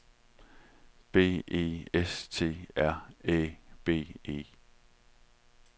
B E S T R Æ B E